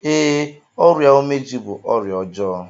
Ee, ọrịa umeji bú ọrịa ọjọọ.